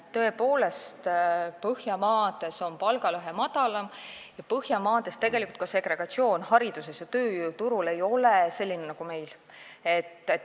Tõepoolest, Põhjamaades on palgalõhe väiksem ja Põhjamaades ei ole tegelikult ka segregatsioon hariduses ja tööjõuturul selline nagu meil.